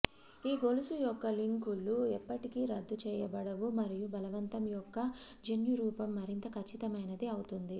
ఈ గొలుసు యొక్క లింకులు ఎప్పటికీ రద్దు చేయబడవు మరియు బలవంతం యొక్క జన్యురూపం మరింత ఖచ్చితమైనది అవుతుంది